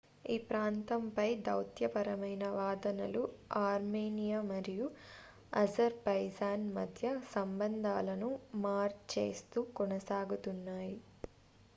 ఈ ప్రాంతం పై దౌత్యపరమైన వాదనలు ఆర్మేనియా మరియు అజర్ బైజాన్ మధ్య సంబంధాలను మార్ చేస్తూ కొనసాగుతున్నాయి